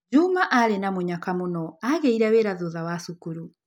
Juma aarĩ na mũnyaka mũno, aagĩire na wĩra thutha wa cukuru.